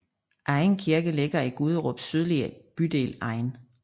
Egen Kirke ligger i Guderups sydlige bydel Egen